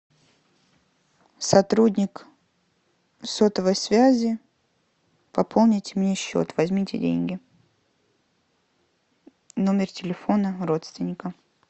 сотрудник сотовой связи пополнить мне счет возьмите деньги номер телефона родственника